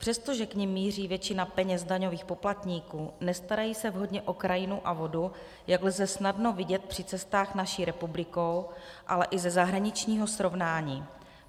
Přestože k nim míří většina peněz daňových poplatníků, nestarají se vhodně o krajinu a vodu, jak lze snadno vidět při cestách naší republikou, ale i ze zahraničního srovnání.